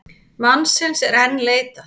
Mannsins er enn leitað.